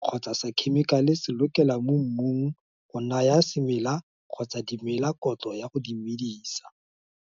kgotsa sa khemikale se lokelwa mo mmung go naya semela kgotsa dimela kotlo ya go di medisa.